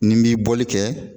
Ni n b'i bɔli kɛ